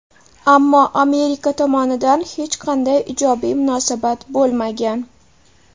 ammo Amerika tomonidan hech qanday ijobiy munosabat bo‘lmagan.